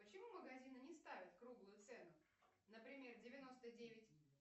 почему магазины не ставят круглую цену например девяносто девять